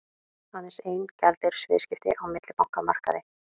Aðeins ein gjaldeyrisviðskipti á millibankamarkaði